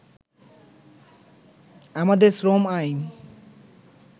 “আমাদের শ্রম আইন